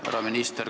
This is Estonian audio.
Härra minister!